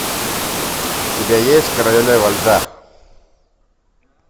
у тебя есть королева льда